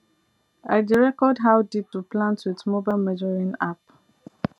i dey record how deep to plant with mobile measuring app